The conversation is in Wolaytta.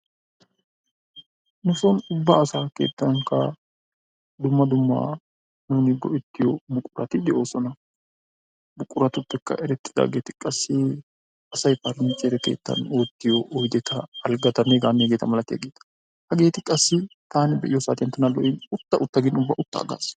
Nu soon ubba asa keettankka dumma dumma asay go"ettiyo buqurati de'oosona. Buquratuppekka erettidaageeti qassi asay paraniichere keettan oottiyo oydeta alggatanne hegeetanne hegeeta malatiyaageeta. Hageeti qassi taani be'iyo saatiyaan tana lo"in ubba uttaa utta gin uttaa aggaas.